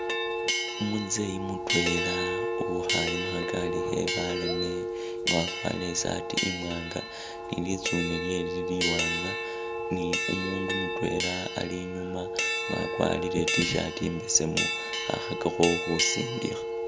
Umuzeeyi mutweela uwikhaale mukhagaali khe baleeme nga wakwarire isaati imwanga ne litsune lyewe lili liwanga ne umundu mutwela ali inyuma nga wakwarire i'tshirt imbesemu khakhakakho khusindikha .